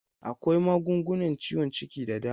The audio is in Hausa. Akwai magungunan ciwon ciki da dama.